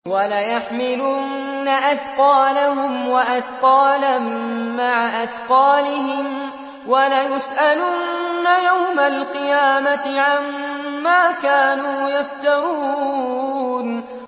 وَلَيَحْمِلُنَّ أَثْقَالَهُمْ وَأَثْقَالًا مَّعَ أَثْقَالِهِمْ ۖ وَلَيُسْأَلُنَّ يَوْمَ الْقِيَامَةِ عَمَّا كَانُوا يَفْتَرُونَ